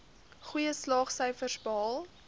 goeie slaagsyfers behaal